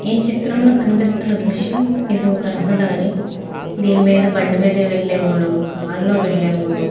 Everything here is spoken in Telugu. ఈ చిత్రం లో కనిపిస్తున్న దృశ్యం ఇది ఒక రహదారి. దీని మీద బండి మీద వెళ్లేవాళ్ళు కార్ లో వెళ్లేవాళ్ళు --